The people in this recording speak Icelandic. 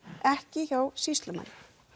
ekki hjá sýslumanni